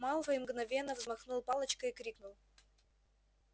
малфой мгновенно взмахнул палочкой и крикнул